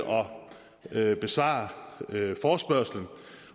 at besvare forespørgslen